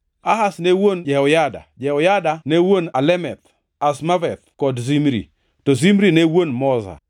Ahaz ne wuon Jehoada, Jehoada ne wuon Alemeth, Azmaveth kod Zimri, to Zimri ne wuon Moza.